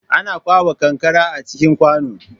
Ana kwaɓa kankara a cikin kwano